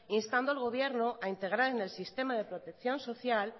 instando al gobierno a integral en el sistema de protección social